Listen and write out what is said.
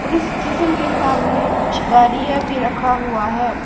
Police station के सामने कुछ गाड़ियां भी रखा हुआ है।